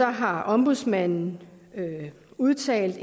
har ombudsmanden udtalt